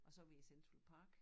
Og så var vi i Central Park